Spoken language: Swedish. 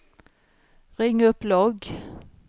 ring upp logg